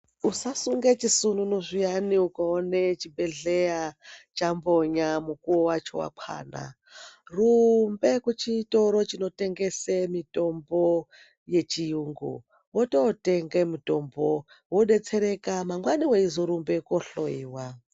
Usasunge chisununu zviyani ukaone chibhedhleya chambonya, mukuwo wacho wakwana. Rumbe kuchitoro chinotengese mitombo yechiyungu, wotootenge mutombo wodetsereka. Mangwani weizorumbe koohloyiwa.